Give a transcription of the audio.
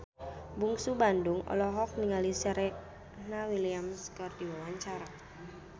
Bungsu Bandung olohok ningali Serena Williams keur diwawancara